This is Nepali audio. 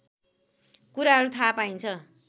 कुराहरू थाहा पाइन्छ